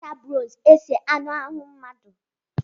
E ji agba na-acha oze ese anụ ahụ mmadụ.